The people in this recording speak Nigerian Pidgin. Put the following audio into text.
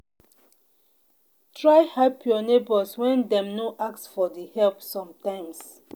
try help your neighbors when dem no ask for di help sometimes